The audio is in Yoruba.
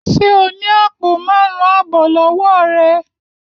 Ṣé o ni apo márún abọ lọwọ rẹ?